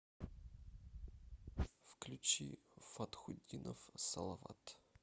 включи фатхутдинов салават